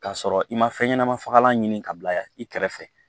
K'a sɔrɔ i ma fɛn ɲɛnama fagalan ɲini ka bila i kɛrɛfɛ